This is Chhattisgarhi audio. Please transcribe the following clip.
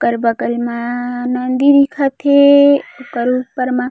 ओकर बगल म नदी दिखत हे ओकर ऊपर मा--